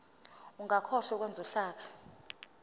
ungakhohlwa ukwenza uhlaka